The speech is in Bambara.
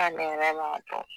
k'ale yɛrɛ b'a dɔn